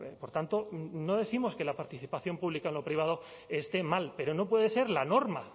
por tanto no décimos que la participación pública en lo privado esté mal pero no puede ser la norma